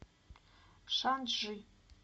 шанчжи